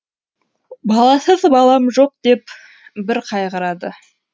баласыз балам жоқ деп бір қайғырады